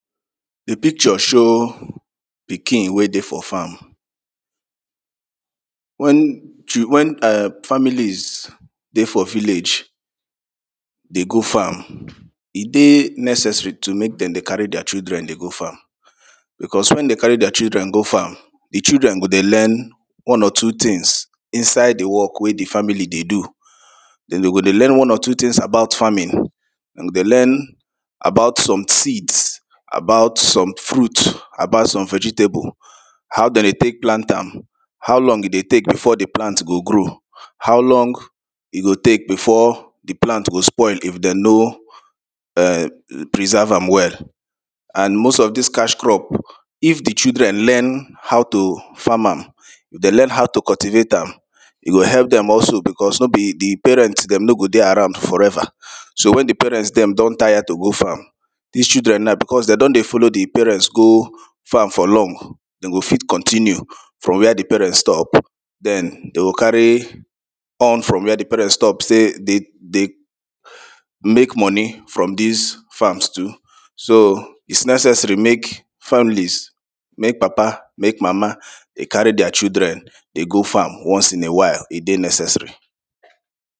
Di picture show pikin wey dey for farm, wen [2] wen families dey for village dey go farm e dey necessary to make dem dey carry dia children dey go farm becos wen dey carry dia children go farm di children go dey learn one or two tins inside di work wey di family dey do den dey go dey learn one or two tins about farming dem go dey learn about some seeds, about some fruit, about some vegetable how dem dey take plant am, how long e dey take before di plant go grow, how long e go take before di plant go spoil if dem no [urn] preserve am well and most of dis cash crop if di children learn how to farm am dem learn how to cultivate am e go help dem also becos no be di parents dem no go dey around forever so wen di parent dem don tire to go farm dis children now becos dem don dey follow di parents go farm for long dem go fit continue from where di parent stop den dem go carry on from where di parent stop sey dey make money from dis farm too so is necessary make families, make papa make mama dey carry dia children dey go farm once in a while e dey necessary.